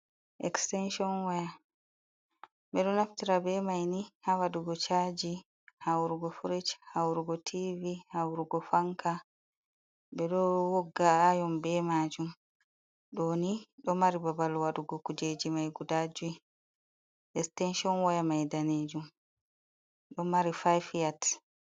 extension wyr ɓe ɗo naftira ɓe maini ha waɗugo chaji haurugo fric haurugo tiv haurugo fanka ɓe ɗo wogga ayon ɓe maju ɗoni ɗo mari babal waɗugo kujeji mai gudaji stention waye maidanejum do mari fif yat .